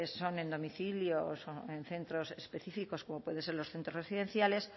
son en domicilios o en centros específicos como pueden ser los centros residenciales